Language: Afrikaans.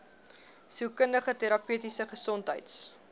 sielkundige terapeutiese gesondheids